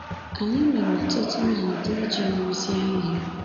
Anyị mere ọtụtụ nhazi iji rụzie ihe.